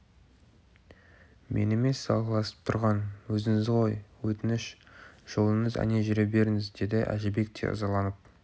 мен емес салғыласып тұрған өзіңізсіз ғой өтініш жолыңыз әне жүре беріңіз деді әжібек те ызаланып